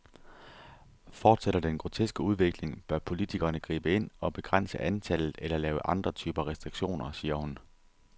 Fortsætter den groteske udvikling, bør politikerne gribe ind og begrænse antallet eller lave andre typer restriktioner, siger hun.